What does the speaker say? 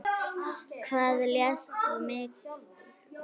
Hvað lést þú mig fá?